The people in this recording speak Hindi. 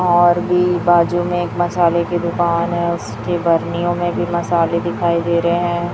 और भी बाजू में एक मसाले की दुकान है उसके बर्नियों में भी मसाले दिखाई दे रहे हैं।